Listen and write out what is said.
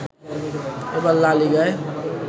এবার লা লিগায়